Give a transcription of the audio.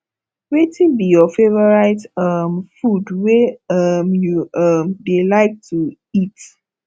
wetin be your favorite um food wey um you um dey like to eat